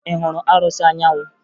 Ị hụrụ arụsị Anyanwụ?